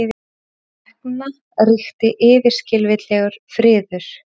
Hvarvetna ríkti yfirskilvitlegur friður.